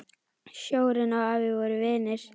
Sjórinn og afi voru vinir.